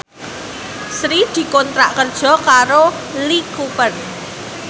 Sri dikontrak kerja karo Lee Cooper